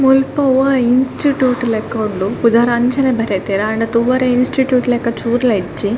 ಮುಲ್ಪ ಒವ ಇನ್ಸ್ಟಿಟ್ಯೂಟ್ ಲೆಕ ಉಂಡು ಪುದರ್ ಅಂಚನೆ ಬರೆತೆರ್ ಆಂಡ ತೂವರೆ ಇನ್ಸ್ಟಿಟ್ಯೂಟ್ ಲೆಕ ಚೂರ್ಲ ಇಜ್ಜಿ.